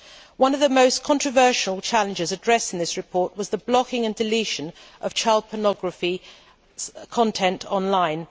One of the most controversial challenges addressed in this report was the blocking and deletion of child pornography content online.